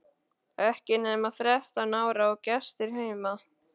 Ekki nema þrettán ára og gestir heima!